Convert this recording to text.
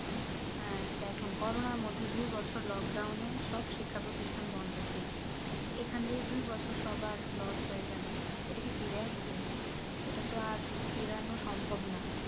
আহ দেখেন করোনা র মধ্যে দুই বছর lockdown এ সব শিক্ষা প্রতিষ্ঠান বন্ধ ছিল এখানে দুই বছর সবার loss হয়ে গেলো ইটা কি ফিরে আসবে এটা তো আর ফেরানো সম্ভব না